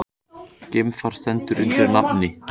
Geimfar stendur undir nafni